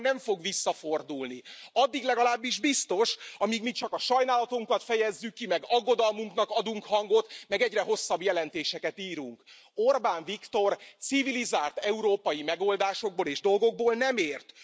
Orbán nem fog visszafordulni, addig legalábbis biztos, amíg mi csak a sajnálatunkat fejezzük ki, meg aggodalmuknak adunk hangot, meg egyre hosszabb jelentéseket írunk. Orbán Viktor civilizált európai megoldásokból és dolgokból nem ért.